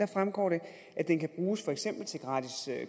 fremgår det at den kan bruges for eksempel til gratis